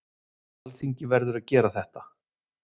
Alþingi verður að gera þetta